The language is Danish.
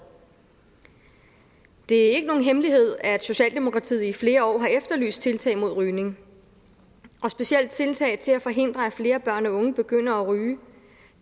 det er ikke nogen hemmelighed at socialdemokratiet i flere år har efterlyst tiltag mod rygning og specielt tiltag til at forhindre at flere børn og unge begynder at ryge